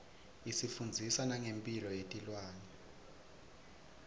isifundzisa nangemphilo yetilwane